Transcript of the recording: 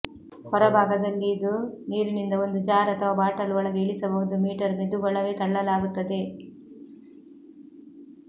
ಹೊರ ಭಾಗದಲ್ಲಿ ಇದು ನೀರಿನಿಂದ ಒಂದು ಜಾರ್ ಅಥವಾ ಬಾಟಲ್ ಒಳಗೆ ಇಳಿಸಬಹುದು ಮೀಟರ್ ಮೆದುಗೊಳವೆ ತಳ್ಳಲಾಗುತ್ತದೆ